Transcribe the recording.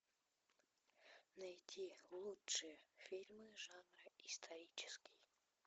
найти лучшие фильмы жанра исторический